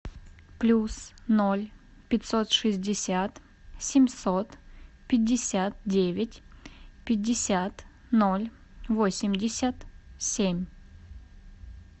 плюс ноль пятьсот шестьдесят семьсот пятьдесят девять пятьдесят ноль восемьдесят семь